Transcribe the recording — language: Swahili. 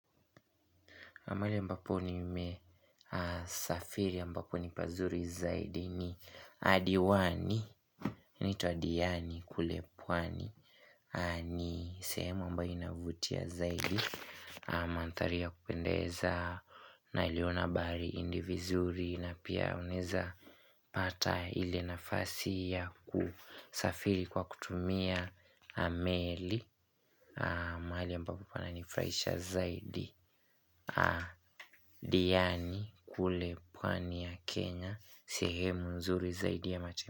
Mahali ambapo nimesafiri ambapo ni pazuri zaidi ni adiwani inaitwa Diani kule pwani ni sehemu ambayo inavutia zaidi Mandhari ya kupendeza naliona bahari indi vizuri na pia unaezapata ile nafasi ya kusafiri kwa kutumia meli mahali ambapo pananifurahisha zaidi Diani kule pwani ya Kenya sehemu mzuri zaidi ya machi.